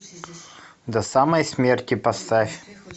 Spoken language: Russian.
до самой смерти поставь